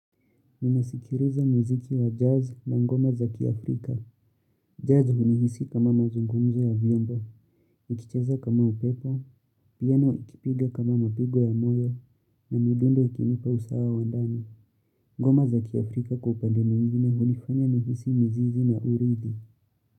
Nimesikiliza muziki wa jazz na ngoma za kiafrika. Jazz hunihisi kama mazungumzo ya vyombo, ikicheza kama upepo, piano ikipiga kama mapigo ya moyo na midundo ikinipa usawa wa ndani. Ngoma za Kiafrika kwa upande mwingine hunifanya nihisi mizizi na uridi.